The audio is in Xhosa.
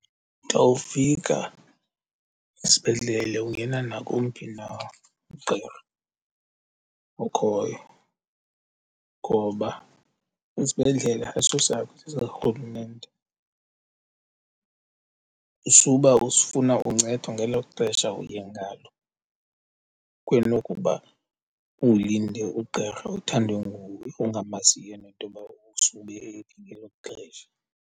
Xa ufika esibhedlele ungena nakowumphi na ugqirha okhoyo ngoba isibhedlela ayisosakho, sesikarhulumente. Isukuba usifuna uncedwe ngelo xesha uye ngalo kunokuba ulinde ugqirha othandwe nguwe ongamaziyo nentoba usube ephi ngelo xesha.